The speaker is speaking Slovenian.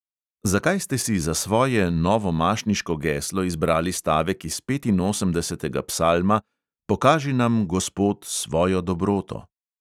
Zakaj ste si za svoje novomašniško geslo izbrali stavek iz petinosemdesetega psalma: pokaži nam, gospod, svojo dobroto?